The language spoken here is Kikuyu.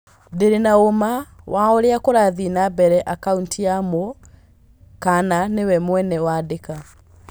Ndĩrĩ na ũũma wa ũrĩa kũrathiĩ nambere akaũntiinĩ ya Mũ kana nĩwe mwene wandĩka.